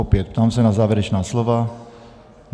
Opět, ptám se na závěrečná slova.